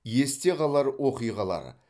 есте қалар оқиғалар